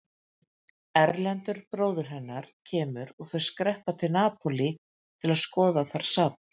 Erlendur bróðir hennar kemur og þau skreppa til Napólí til að skoða þar safn.